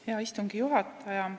Hea istungi juhataja!